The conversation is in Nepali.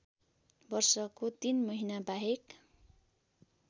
वर्षको ३ महिनाबाहेक